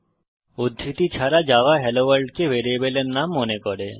উদ্ধৃতি ছাড়া Java hello world কে ভ্যারিয়েবলের নাম মনে করে